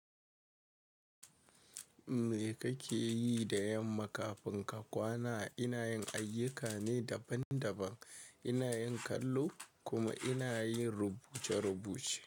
Me kake yi da yamma kafin ka kwana? Ina yin ayyuka ne daban daban. Ina yin kallo kuma ina yin rubuce rubuce.